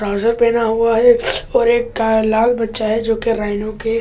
प्राजों पहना हुआ है और एक का लाल बच्चा है जो के राइनो के कान खी --